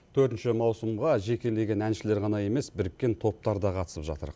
төртінші маусымға жекелеген әншілер ғана емес біріккен топтар да қатысып жатыр